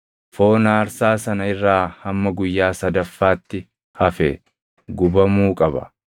Foon aarsaa sana irraa hamma guyyaa sadaffaatti hafe gubamuu qaba.